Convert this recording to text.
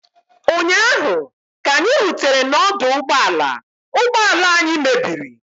ụnyaahụ, ka anyị rutere n'ọdụ ụgbọ ala ụgbọ ala anyị mebiri